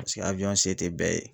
Pase se te bɛɛ ye.